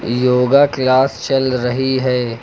Yoga class चल रही है।